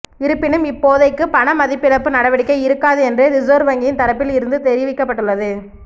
இருப்பினும் இப்போதைக்கு பணமதிப்பிழப்பு நடவடிக்கை இருக்காது என்றே ரிசர்வ் வங்கியின் தரப்பில் இருந்து தெரிவிக்கப்பட்டுள்ளது